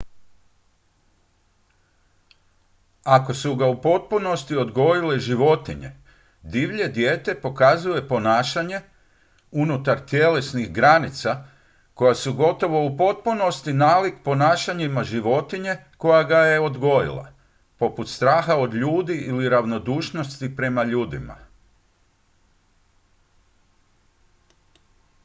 ako su ga u potpunosti odgojile životinje divlje dijete pokazuje ponašanja unutar tjelesnih granicama koja su gotovo u potpunosti nalik ponašanjima životinje koja ga je odgojila poput straha od ljudi ili ravnodušnosti prema ljudima